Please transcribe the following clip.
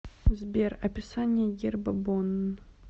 сбер описание герба бонн